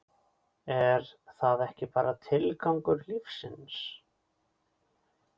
er það ekki bara tilgangur lífsins?